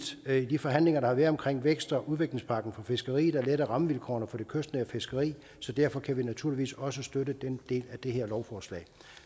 i de forhandlinger der har været omkring vækst og udviklingspakken for fiskeriet at lette rammevilkårene for det kystnære fiskeri så derfor kan vi naturligvis også støtte den del af det her lovforslag